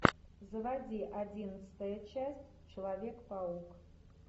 заводи одиннадцатая часть человек паук